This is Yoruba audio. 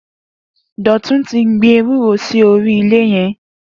Dotun ti gbin éwùró si óri ilẹ yẹn